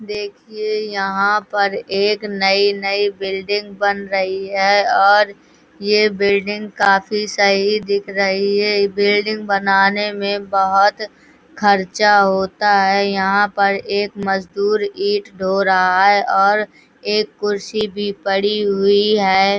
देखिये यहाँ पर एक नई-नई बिल्डिंग बन रही है और ये बिल्डिंग काफी सही दिख रही है। बिल्डिंग बनाने में बहुत खर्चा होता है। यहाँ पर एक मजदुर ईटा ढो रहा है और एक कुर्सी भी पड़ी हुई है।